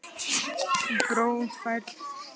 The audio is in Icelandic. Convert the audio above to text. Bros færðist yfir bleikar varir hennar þegar hún bætti við